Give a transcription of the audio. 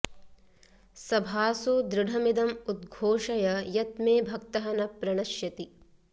सभासु दृढमिदम् उद्घोषय यत् मे भक्तः न प्रणश्यति